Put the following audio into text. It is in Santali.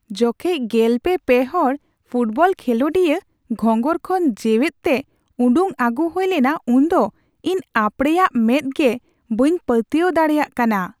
ᱡᱚᱠᱷᱮᱡ ᱑᱓ ᱦᱚᱲ ᱯᱷᱩᱴᱵᱚᱞ ᱠᱷᱮᱞᱳᱰᱤᱭᱟᱹ ᱜᱷᱚᱸᱜᱚᱨ ᱠᱷᱚᱱ ᱡᱮᱣᱮᱛ ᱛᱮ ᱩᱰᱩᱠ ᱟᱹᱜᱩ ᱦᱩᱭ ᱞᱮᱱᱟ ᱩᱱᱫᱚ ᱤᱧ ᱟᱯᱲᱮᱭᱟᱜ ᱢᱮᱸᱫ ᱜᱮ ᱵᱟᱹᱧ ᱯᱟᱹᱛᱭᱟᱹᱣ ᱫᱟᱲᱮᱭᱟᱜ ᱠᱟᱱᱟ ᱾